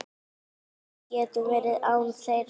Við getum verið án þeirra.